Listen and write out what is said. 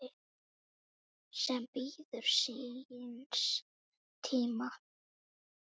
sem bíður síns tíma